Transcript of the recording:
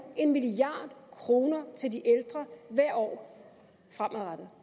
en milliard kroner til de ældre hvert år fremadrettet